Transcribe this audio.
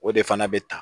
O de fana bɛ ta